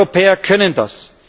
Wir Europäer können das.